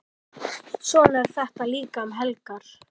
Svona er þetta líka um helgar.